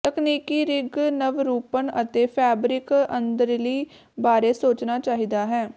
ਤਕਨੀਕੀ ਰਿੰਗ ਨਵਰੂਪਨ ਅਤੇ ਫੈਬਰਿਕ ਅੰਦਰਲੀ ਬਾਰੇ ਸੋਚਣਾ ਚਾਹੀਦਾ ਹੈ